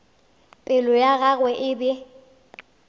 pelo ya gagwe e be